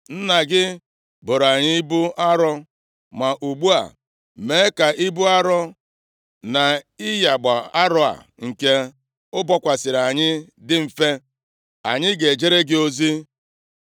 “Nna gị boro anyị ibu arọ, ma ugbu a mee ka ibu arọ na ịyagba arọ a nke o bokwasịrị anyị dị mfe, anyị ga-ejere gị ozi.”